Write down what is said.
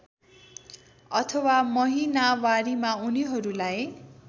अथवा महिनावारीमा उनीहरूलाई